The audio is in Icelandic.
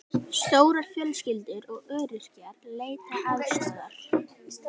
Stórar fjölskyldur og öryrkjar leita aðstoðar